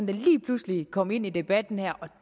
det lige pludselig kom ind i debatten her